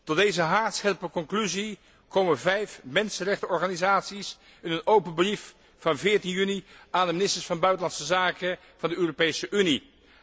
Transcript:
Tot deze haarscherpe conclusie komen vijf mensenrechtenorganisaties in een open brief van 14 juni aan de ministers van Buitenlandse Zaken van de Europese Unie.